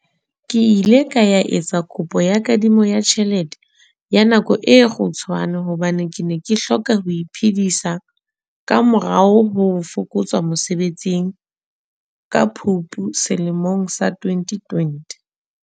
Ke ile ka ya etsa kopo ya kadimo ya tjhelete ya nako e kgutshwane hobane ke ne ke hloka ho iphedisa ka morao ho fokotswa mosebetsing ka Phupu selemong sa 2020.